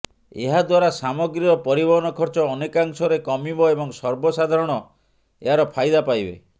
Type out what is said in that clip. ଏହାଦ୍ୱାରା ସାମଗ୍ରୀର ପରିବହନ ଖର୍ଚ୍ଚ ଅନେକାଂଶରେ କମିବ ଏବଂ ସର୍ବସାଧାରଣ ଏହାର ଫାଇଦା ପାଇବେ